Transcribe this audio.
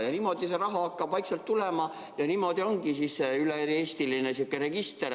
Ja niimoodi see raha hakkab vaikselt tulema ja niimoodi ongi siis üle-eestiline register.